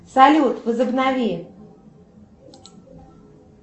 салют возобнови